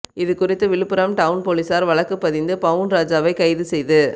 இது குறித்து விழுப்புரம் டவுன் போலீசார் வழக்குப்பதிந்து பவுன்ராஜை கைது செய்து